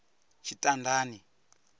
tshitandani